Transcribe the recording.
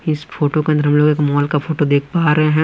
इस फोटो के अंदर हम लोग एक मॉल का फोटो देख पा रहे हैं।